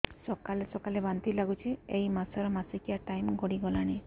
ସକାଳେ ସକାଳେ ବାନ୍ତି ଲାଗୁଚି ଏଇ ମାସ ର ମାସିକିଆ ଟାଇମ ଗଡ଼ି ଗଲାଣି